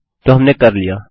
तो हमने कर लिया